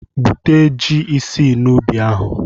Gwute ji isii n'ubi ahụ!